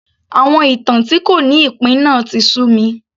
Àwọn ìtàn tí kò ní ìpín náà tí sú mi